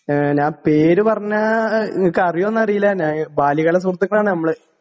E ഞാൻ പേര് പറഞ്ഞാ ഇങ്ങക്കറിയോന്നറീല്ല ഞാൻ ബാല്യകാല സുഹൃത്തുക്കളാണ് നമ്മള്.